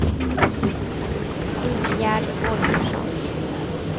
Ingegärd Holgersson